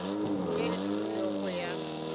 tše di hlomilwego go ya